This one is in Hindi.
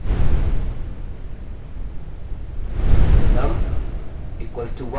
मैं शुरू करने के लिए num = 1 टाइप करता हूँ